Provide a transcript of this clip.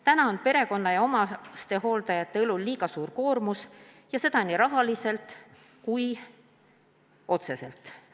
Täna on perekonna ja omastehooldajate õlul liiga suur koormus, ja seda nii rahaliselt kui ka otseselt.